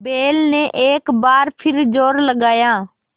बैल ने एक बार फिर जोर लगाया